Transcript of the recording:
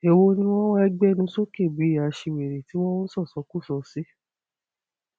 èwo ni wọn wáá gbénú sókè bíi ẹnu aṣiwèrè tí wọn ń ṣọṣọkọso sí